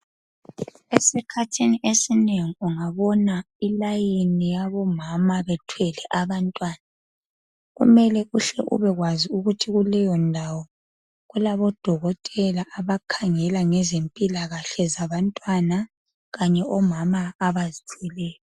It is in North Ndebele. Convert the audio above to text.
Esikhathini esinengi ungabona iline yabo mama bethwele abantwana kumele uhle ubekwazi ukuthi kuleyo ndawo kulabodokotela abakhangela ngezempilakahle zabantwana kanye omama abazithweleyo.